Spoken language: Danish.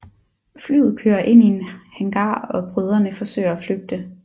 Flyet kører ind i en hangar og brødrene forsøger at flygte